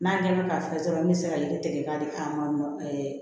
N'a ɲɛdɔn ka fisa dɔrɔn an bɛ se ka yiri tigɛ k'a di an ma